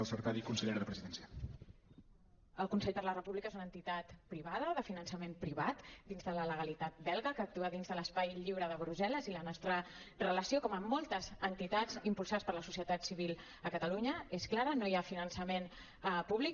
el consell per la república és una entitat privada de finançament privat dins de la legalitat belga que actua dins de l’espai lliure de brussel·les i la nostra relació com amb moltes entitats impulsades per la societat civil a catalunya és clara no hi ha finançament públic